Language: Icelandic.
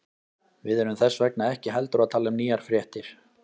Við erum þess vegna ekki heldur að tala um nýjar fréttir.